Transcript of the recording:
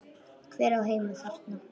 Hver á heima þarna?